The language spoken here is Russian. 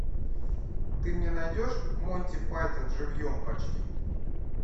ты мне найдешь монти пайтон живьем почти